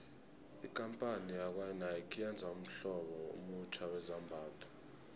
ikampani yakwanike yenze ummhlobo omutjha wezambhatho